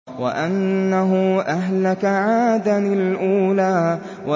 وَأَنَّهُ أَهْلَكَ عَادًا الْأُولَىٰ